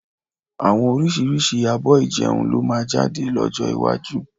Àwọn oríṣiríṣi abọ́ ìjẹun ni ó máa jáde lọ́jọ́ iwájú